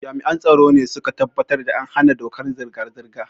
Jami'an tsaro ne su ka tabbatar da an bi dokar hana zirga-zirga.